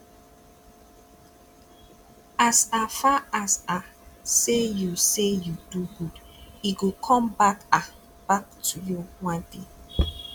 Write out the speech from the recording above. as um far as um say you say you do good e go come um back to you one day